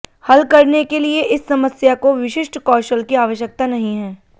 हल करने के लिए इस समस्या को विशिष्ट कौशल की आवश्यकता नहीं है